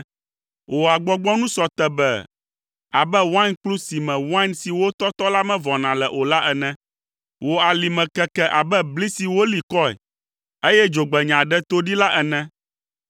Wò agbɔgbɔnu sɔ tebee abe wainkplu si me wain si wotɔtɔ la mevɔna le o la ene. Wò alime keke abe bli si woli kɔe, eye dzogbenya ɖe to ɖee la ene.